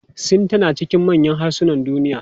Sin tana cikin manyan harsunan duniya.